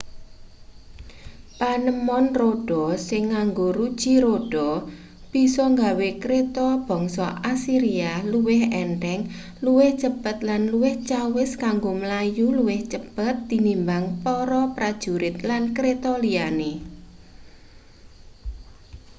panemon rodha sing nganggo ruji rodha bisa nggawe kreta bangsa asiria luwih entheng luwih cepet lan luwih cawis kanggo mlayu luwih cepet tinimbang para prajurit lan kreta liyane